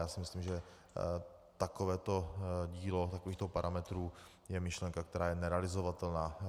Já si myslím, že takovéto dílo takovýchto parametrů je myšlenka, která je nerealizovatelná.